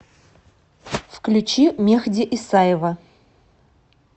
включи мехди исаева